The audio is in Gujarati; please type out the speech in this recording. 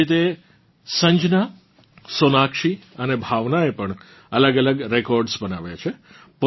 આવી જ રીતે સંજના સોનાક્ષી અને ભાવનાએ પણ અલગઅલગ રેકોર્ડ્સ બનાવ્યાં છે